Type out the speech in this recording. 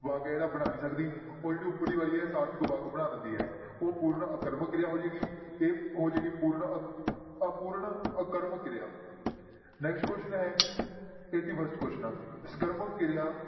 ਵਾਕ ਜਿਹੜਾ ਬਣਾ ਨੀ ਸਕਦੀ ਔਰ ਜਿਹੜੀ ਉਪਰਲੀ ਵਾਲੀ ਹੈ ਸਾਰਥਕ ਵਾਕ ਬਣਾ ਦਿੰਦੀ ਹੈ ਉਹ ਅਪੂਰਨ ਆਕਰਮਕ ਕਿਰਿਆ ਹੋ ਜਾਏਗੀ, ਇਹ ਹੋ ਜਾਏਗੀ ਪੂਰਨ ਅਪੂਰਨ ਆਕਰਮਕ ਕਿਰਿਆ next question ਹੈ eighty first question ਆਂ, ਸਕਰਮਕ ਕਿਰਿਆ